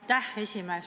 Aitäh, esimees!